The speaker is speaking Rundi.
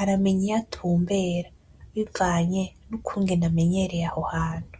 aramenya iyo atumbera bivanye nukungene amenyereye aho hantu.